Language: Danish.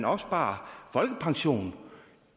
opsparer folkepension